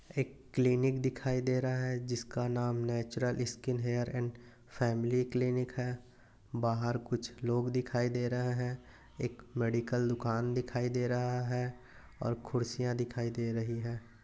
एक क्लीनिक दिखाई दे रहा है जिसका नाम natural skin hair and family clinic है बाहर कुछ लोग दिखाई दे रहे है एक मेडिकल दुकान दिखाई दे रहा है और खुर्सिया दिखाई दे रही है।